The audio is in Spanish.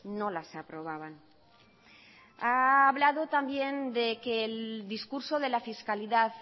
no las aprobaban ha hablado también de que el discurso de la fiscalidad